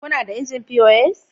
Kuna da injin pos?